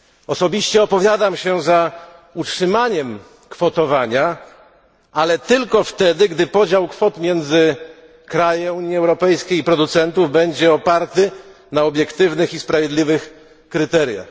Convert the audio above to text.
Osobiście opowiadam się za utrzymaniem kwotowania, ale tylko wtedy, gdy podział kwot między kraje Unii Europejskiej i producentów będzie oparty na obiektywnych i sprawiedliwych kryteriach.